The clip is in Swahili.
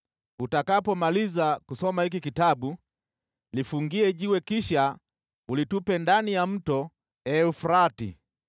Utakapomaliza kusoma hiki kitabu, kifungie jiwe kisha ukitupe ndani ya Mto Frati.